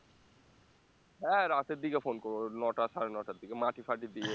হ্যাঁ রাতের দিকে phone করবো নটা সাড়ে নটার দিকে মাটি ফাটি দিয়ে